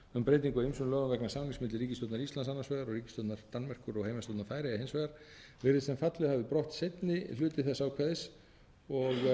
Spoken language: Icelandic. um breytingu á ýmsum lögum vegna samnings milli ríkisstjórnar íslands annars vegar og ríkisstjórnar danmerkur og heimastjórnar færeyja hins vegar virðist sem fallið hafi brott seinni hluti þess ákvæðis og